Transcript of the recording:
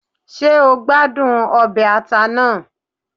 Ṣé o gbádùn ọbẹ̀ ata náà?